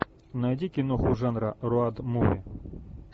найди киноху жанра роуд муви